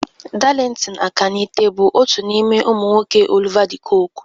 Darlington Akanite bụ otu n'ime ụmụ nwoke Oliver de Coque